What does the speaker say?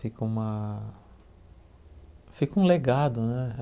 Fica uma... Fica um legado, né?